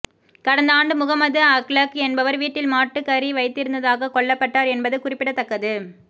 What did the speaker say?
கடந்த ஆண்டு முகமது அக்லக் என்பவர் வீட்டில் மாட்டுக்கறி வைத்திருந்ததாக கொல்லப்பட்டார் என்பது குறிப்பிடத்தக்கது